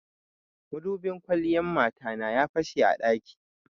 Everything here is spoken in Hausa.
Madubin kwalliyan mata na ya fashe a ɗaki.